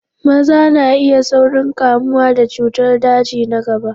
Maza na iya saurin kamuwa da cutar daji na gaba.